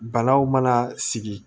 Banaw mana sigi